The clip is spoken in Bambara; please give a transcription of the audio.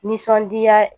Nisɔndiya